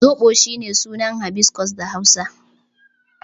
Zoɓo is shine sunan hibiscus da Hausa.